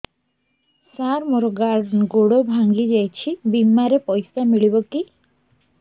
ସାର ମର ଗୋଡ ଭଙ୍ଗି ଯାଇ ଛି ବିମାରେ ପଇସା ମିଳିବ କି